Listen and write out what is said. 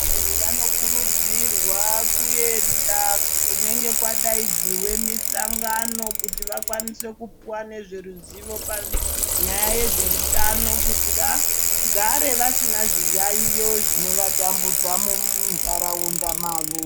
Vantu vano kurudzirwa kuenda kunenge kwadaidzirwe mihlangano, kuti vakwanise kuwane ruzivo pane nyaya yezveutano kuti vagare vasina zviyaiyo zvino vatambudza muntaraunda mavo.